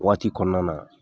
Waati kɔnɔna na